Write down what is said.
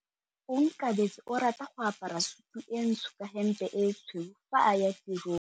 Onkabetse o rata go apara sutu e ntsho ka hempe e tshweu fa a ya tirong.